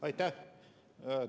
Aitäh!